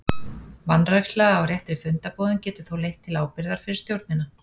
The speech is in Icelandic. Vanræksla á réttri fundarboðun getur þó leitt til ábyrgðar fyrir stjórnina.